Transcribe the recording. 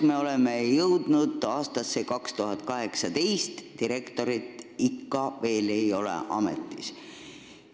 Me oleme jõudnud aastasse 2018, aga direktorit ei ole ikka veel ametis.